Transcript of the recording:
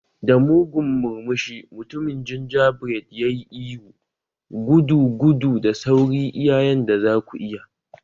Da mugun murmushi, mutumin gingerbread ya yi ihu, "Gudu, gudu, da sauri iya yanda za ku iya!"